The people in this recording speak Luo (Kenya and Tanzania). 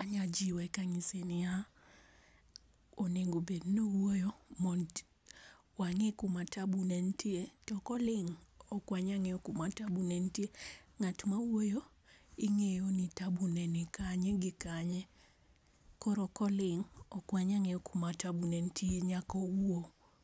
Anya jiwe ka ng'ise ni ya ,onego bed ni owuoyo mondo wa ng'e ka ma taabu ne tie to ko oling to ok wanya ng'eyo ku ma taabu ne tie , ng'at ma wuoyo ing'eyo ni taabu ne ni kanye gi kanye koro ko olig ok wanya ng'eyo ku ma taabu ne nitie koro owuo